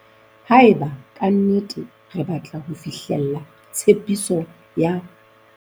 Haeba ka nnete re batla fihlella tshepiso ya